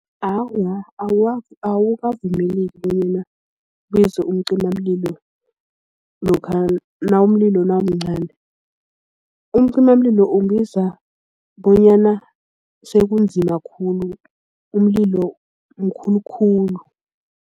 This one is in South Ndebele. Awa, akukavumeleki bonyana kubizwe umcimamlilo lokha nawumlilo nawumncani. Umcimamlilo umbiza bonyana sekunzima khulu umlilo mkhulukhulu.